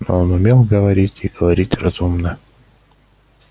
но он умел говорить и говорить разумно